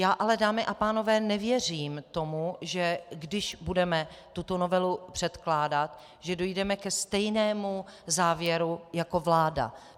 Já ale, dámy a pánové, nevěřím tomu, že když budeme tuto novelu předkládat, že dojdeme ke stejnému závěru jako vláda.